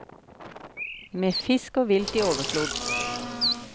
Med fisk og vilt i overflod.